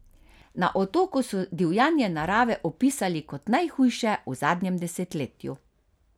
Na Otoku so divjanje narave opisali kot najhujše v zadnjem desetletju.